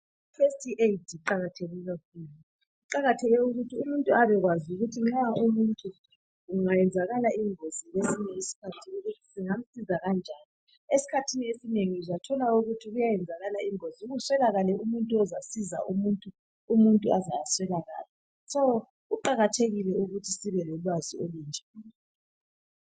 I first aid iqakatheke kakhulu. Iqakatheke ukuthi umuntu abekwazi ukuthi nxa kungenzakala ingozi kwesinye isikhathi singamsiza kanjani. Esikhathini esinengi kuyenzakala ingozi kuswelakale umuntu ozasiza umuntu, umuntu aze aswelakale. Ngakho kuqakathekile ukuthi sibe lolwazi olunje